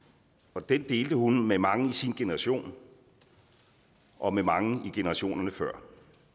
og den delte hun med mange i sin generation og med mange i generationerne før